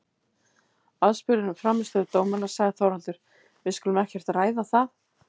Aðspurður um frammistöðu dómarans sagði Þorvaldur: Við skulum ekkert ræða það.